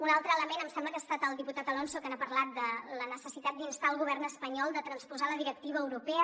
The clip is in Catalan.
un altre element em sembla que ha estat el diputat alonso que n’ha parlat de la necessitat d’instar el govern espanyol de transposar la directiva europea